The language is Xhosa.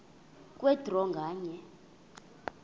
kwe draw nganye